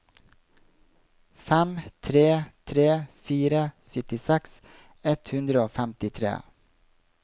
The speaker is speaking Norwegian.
fem tre tre fire syttiseks ett hundre og femtitre